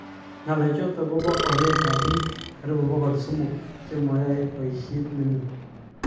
Ngalechotok kopaa onet ap piik karibu pokol somok chema ae paishet nemie